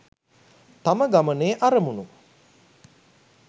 තම ගමනේ අරමුණු